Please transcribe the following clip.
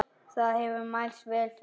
Það hefur mælst vel fyrir.